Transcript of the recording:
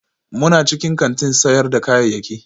muna cikin kantin sayar da kayayyaki